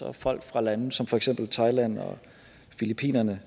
af folk fra lande som for eksempel thailand og filippinerne